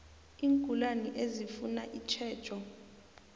iingulani ezifuna itjhejo